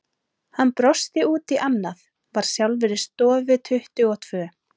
Hann brosti út í annað, var sjálfur í stofu tuttugu og tvö.